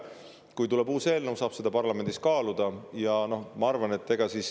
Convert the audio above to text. Kui tuleb uus eelnõu, saab seda parlamendis kaaluda.